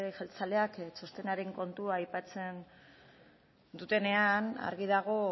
jeltzaleak txostenaren kontua aipatzen dutenean argi dago